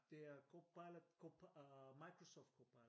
Det er Copilot øh Microsoft Copilot